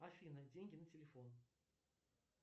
афина деньги на телефон